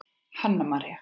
Hanna María.